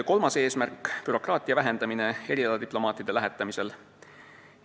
Kolmas eesmärk: bürokraatia vähendamine erialadiplomaatide lähetamisel.